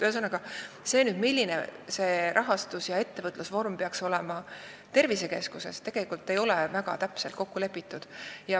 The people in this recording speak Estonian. Ühesõnaga, see, milline peaks olema tervisekeskuse rahastus- ja ettevõtlusvorm, ei ole tegelikult väga täpselt kokku lepitud.